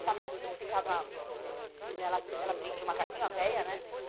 O macaquinho ficava... Ela ela prendia o macaquinho, a veia, né?